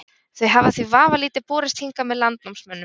Þau hafa því vafalítið borist hingað með landnámsmönnum.